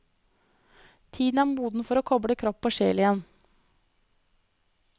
Tiden er moden for å koble kropp og sjel igjen.